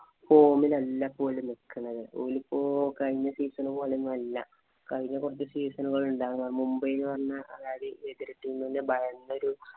form ഇലല്ല ഇപ്പൊ ഓര് നിക്കണത്. ഓലിപ്പോ കഴിഞ്ഞ season പോലെ ഒന്നുമല്ല. കഴിഞ്ഞ കൊറച്ച് season ഉകള്‍ ഉണ്ടാരുന്നു. മുംബൈ എന്ന് പറഞ്ഞാ അതായത് എതിര്‍ team നെ ഭയന്നൊരു